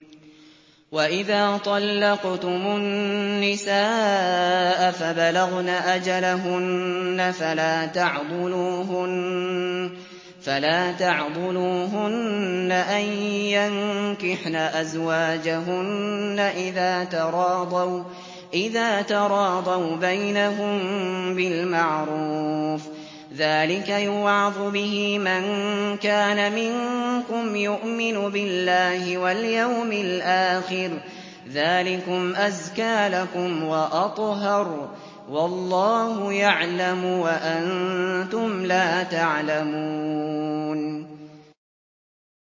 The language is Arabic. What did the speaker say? وَإِذَا طَلَّقْتُمُ النِّسَاءَ فَبَلَغْنَ أَجَلَهُنَّ فَلَا تَعْضُلُوهُنَّ أَن يَنكِحْنَ أَزْوَاجَهُنَّ إِذَا تَرَاضَوْا بَيْنَهُم بِالْمَعْرُوفِ ۗ ذَٰلِكَ يُوعَظُ بِهِ مَن كَانَ مِنكُمْ يُؤْمِنُ بِاللَّهِ وَالْيَوْمِ الْآخِرِ ۗ ذَٰلِكُمْ أَزْكَىٰ لَكُمْ وَأَطْهَرُ ۗ وَاللَّهُ يَعْلَمُ وَأَنتُمْ لَا تَعْلَمُونَ